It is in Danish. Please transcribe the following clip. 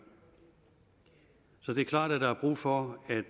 så det er klart at der er brug for